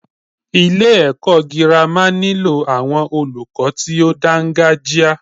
Ilé ẹ̀kọ́ gírámà nílò àwọn olùkọ tí o dáńgájia.